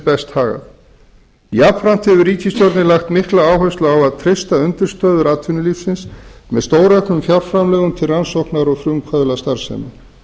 verði best hagað jafnframt hefur ríkisstjórnin lagt mikla áherslu á að treysta undirstöður atvinnulífsins með stórauknum fjárframlögum til rannsóknar og frumkvöðlastarfsemi